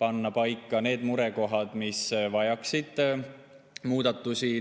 ja murekohad, mis vajaksid tulevikus muudatusi.